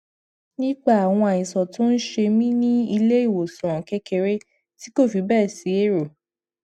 nípa àwọn àìsàn tó ń ṣe mí ní iléìwòsàn kekere ti kò fi béè si ero